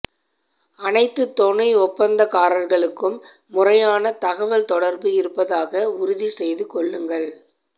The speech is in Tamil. அனைத்து துணை ஒப்பந்தக்காரர்களுக்கும் முறையான தகவல் தொடர்பு இருப்பதாக உறுதி செய்து கொள்ளுங்கள்